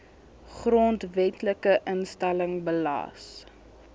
grondwetlike instelling belas